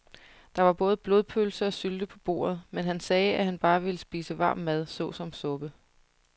Der var både blodpølse og sylte på bordet, men han sagde, at han bare ville spise varm mad såsom suppe.